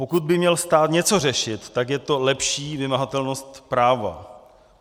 Pokud by měl stát něco řešit, tak je to lepší vymahatelnost práva.